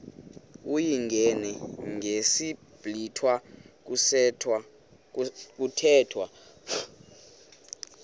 uyingene ngesiblwitha kuthethwa